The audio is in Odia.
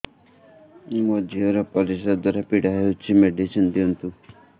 ମୋ ଝିଅ ର ପରିସ୍ରା ଦ୍ଵାର ପୀଡା ହଉଚି ମେଡିସିନ ଦିଅନ୍ତୁ